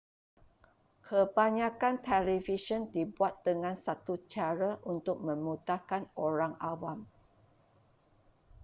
kebanyakan televisyen dibuat dengan satu cara untuk memudahkan orang awam